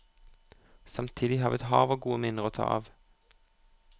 Samtidig har vi et hav av gode minner å ta av.